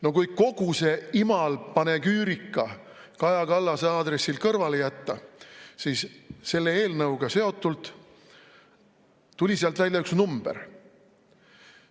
No kui kogu see imal panegüürika Kaja Kallase aadressil kõrvale jätta, siis selle eelnõuga seotult tuli sealt välja üks number.